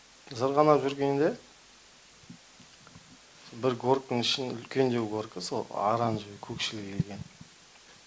зырғанап жүргенде горкінің ішін үлкендеу горкі сол оранжевый көкшіл келген